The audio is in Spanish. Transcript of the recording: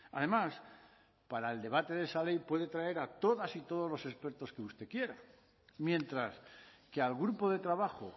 además para el debate de esa ley puede traer a todas y todos los expertos que usted quiera mientras que al grupo de trabajo